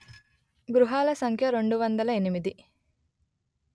గృహాల సంఖ్య రెండు వందలు ఎనిమిది